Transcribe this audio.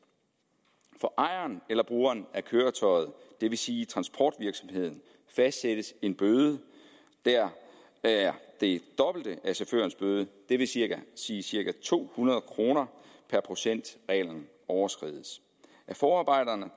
for ejeren eller brugeren af køretøjet det vil sige transportvirksomheden fastsættes en bøde der er det dobbelte af chaufførens bøde det vil sige sige cirka to hundrede kroner per procent reglen overskrides af forarbejderne